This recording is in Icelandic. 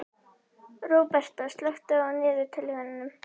Róberta, slökktu á niðurteljaranum.